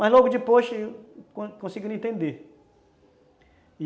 Mas logo depois, conseguiram entender.